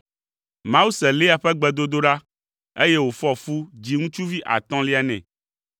Mawu se Lea ƒe gbedodoɖa, eye wòfɔ fu dzi ŋutsuvi atɔ̃lia nɛ.